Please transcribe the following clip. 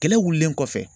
Kɛlɛ wulilen kɔfɛ